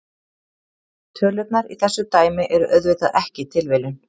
Tölurnar í þessu dæmi eru auðvitað ekki tilviljun.